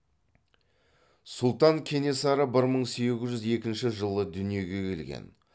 сұлтан кенесары бір мың сегіз жүз екінші жылы дүниеге келген